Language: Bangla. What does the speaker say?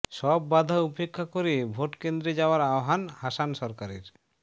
সব বাধা উপেক্ষা করে ভোটকেন্দ্রে যাওয়ার আহ্বান হাসান সরকারের